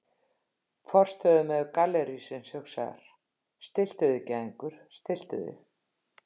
Forstöðumaður gallerísins hugsar: Stilltu þig gæðingur, stilltu þig.